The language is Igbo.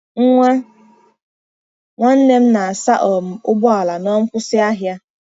Nwa nwanne m na-asa um ụgbọ ala na nkwụsị ahịa.